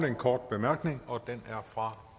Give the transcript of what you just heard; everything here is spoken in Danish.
en kort bemærkning og den er fra